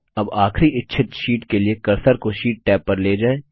अब आखरी इच्छित शीट के लिए कर्सर को शीट टैब पर ले जाएँ